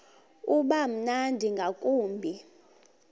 uba mnandi ngakumbi